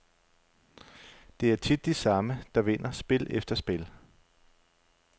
Det er tit de samme, der vinder spil efter spil.